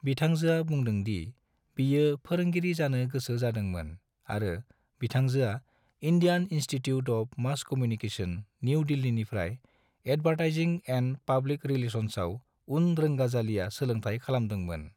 बिथांजोआ बुंदों दि बियो फोरोंगिरि जानो गोसो जादों मोन आरो बिथांजोआ Indian institute of mass communication, new दिल्लीनिफ्राय एदवरथाइजिं एन्द पब्लिक रिलासन्साव उन रोंगाजालिया सोलोंथाइ खालामदों मोन।